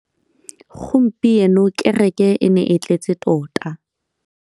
Gompieno kêrêkê e ne e tletse tota.